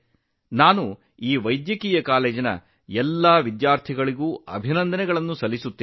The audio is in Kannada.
ಈ ಪ್ರಯತ್ನಕ್ಕಾಗಿ ನಾನು ವೈದ್ಯಕೀಯ ಕಾಲೇಜಿನ ಎಲ್ಲಾ ವಿದ್ಯಾರ್ಥಿಗಳನ್ನು ಅಭಿನಂದಿಸುತ್ತೇನೆ